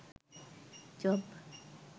job